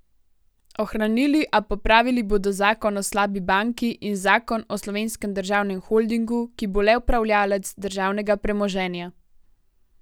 Ohranili, a popravili bodo zakon o slabi banki in zakon o Slovenskem državnem holdingu, ki bo le upravljavec državnega premoženja.